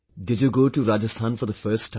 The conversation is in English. Did you go toRajasthan for the first time